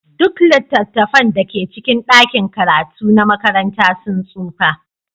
Duk littattafan da ke cikin ɗakin karatu na makaranta sun tsufa.